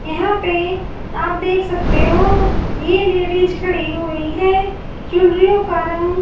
यहां पे आप देख सकते हो ये लेडिस खड़ी हुई है चुनरियों का रंग--